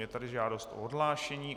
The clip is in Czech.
Je tady žádost o odhlášení.